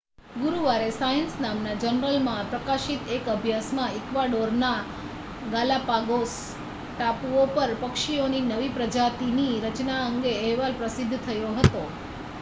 ગુરુવારે સાયન્સ નામના જર્નલમાં પ્રકાશિત એક અભ્યાસમાં ઇક્વાડોરના ગાલાપાગોસ ટાપુઓ પર પક્ષીઓની નવી પ્રજાતિની રચના અંગે અહેવાલ પ્રસિદ્ધ થયો હતો